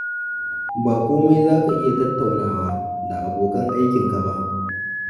Ba komai za ka iya tattaunawa da abokan aikinka ba